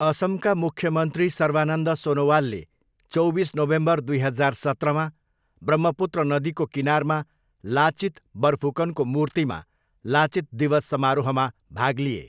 असमका मुख्यमन्त्री सर्बानन्द सोनोवालले चौबिस नोभेम्बर दुई हजार सत्रमा ब्रह्मपुत्र नदीको किनारमा लाचित बरफुकनको मूर्तिमा लाचित दिवस समारोहमा भाग लिए।